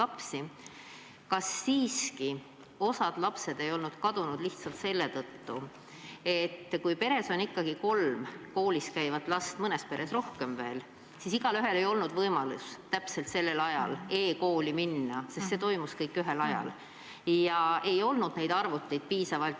Aga kas osa lapsi ei olnud siiski kadunud lihtsalt selle tõttu, et kui peres on ikkagi kolm koolis käivat last – mõnes peres rohkemgi –, siis igaühel ei ole võimalik õigel ajal e-kooli minna, sest kõik toimub ühel ajal ja arvuteid ei ole piisavalt?